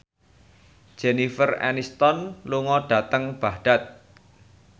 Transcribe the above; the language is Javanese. Jennifer Aniston lunga dhateng Baghdad